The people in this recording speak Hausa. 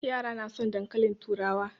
Yara na son dankalin turawa.